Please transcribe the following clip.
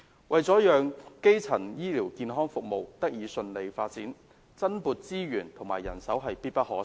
為了讓基層醫療健康服務得以順利發展，增撥資源及人手必不可少。